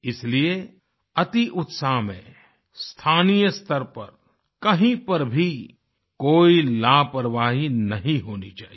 इसलिए अतिउत्साह में स्थानीयस्तर पर कहीं पर भी कोई लापरवाही नहीं होनी चाहिए